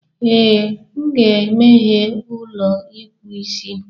Ee, m ga-emeghe ụlọ ịkpụ isi.